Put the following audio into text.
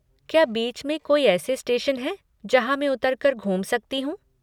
क्या बीच में कोई ऐसे स्टेशन हैं जहाँ मैं उतर कर घूम सकती हूँ?